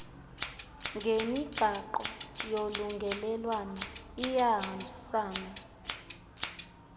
ngemigaqo yolungelelwano iyahambisana